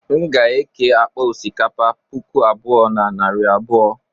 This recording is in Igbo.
m ga-eke akpa osikapa puku abụọ na narị abụọ